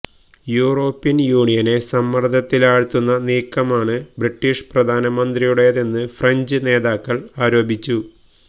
European യൂണിയനെ സമ്മർദത്തിലാഴ്ത്താനുള്ള നീക്കമാണ് ബ്രിട്ടീഷ് പ്രധാനമന്ത്രിയുടേതെന്ന് ഫ്രഞ്ച് നേതാക്കൾ ആരോപിച്ചു